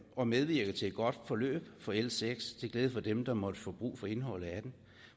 og medvirke til et godt forløb for l seks til glæde for dem der måtte få brug for indholdet af det